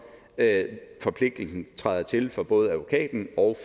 at forpligtelsen træder til for både advokaten og